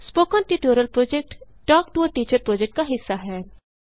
spoken tutorial project talk to a teacher project का हिस्सा है